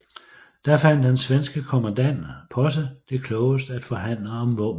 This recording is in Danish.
Da fandt den svenske kommandant Posse det klogest at forhandle om våbenhvile